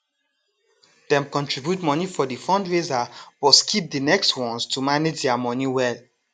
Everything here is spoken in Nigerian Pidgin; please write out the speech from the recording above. dem contribute money for the fundraiser but skip the next ones to manage their money well